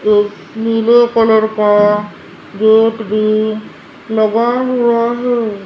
एक नीले कलर का गेट भी लगा हुआ है।